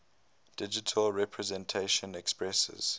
digital representation expresses